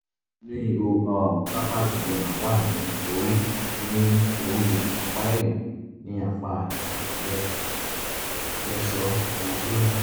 ní inú ihò um carpal edema wà ní orí ní orí ọ̀pá ẹ̀yìn ní apá ìka lábẹ́ flexor retinaculum